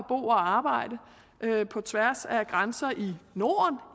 og arbejde på tværs af grænser i norden